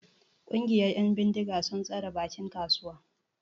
Ƙungiyar 'yan bindiga sun tsare bakin kasuwa.